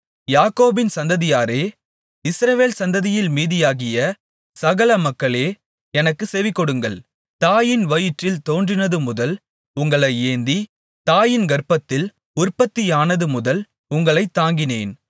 யாக்கோபின் சந்ததியாரே இஸ்ரவேல் சந்ததியில் மீதியாகிய சகல மக்களே எனக்குச் செவிகொடுங்கள் தாயின் வயிற்றில் தோன்றினதுமுதல் உங்களை ஏந்தி தாயின் கர்ப்பத்தில் உற்பத்தியானதுமுதல் உங்களைத் தாங்கினேன்